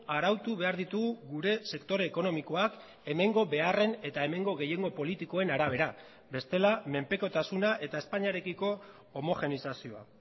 arautu behar ditugu gure sektore ekonomikoak hemengo beharren eta hemengo gehiengo politikoen arabera bestela menpekotasuna eta espainiarekiko homogenizazioa